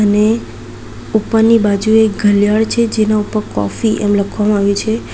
ને ઉપરની બાજુએ ઘલિયાળ છે જેના ઉપર કોફી એમ લખવામાં આવ્યુ છે.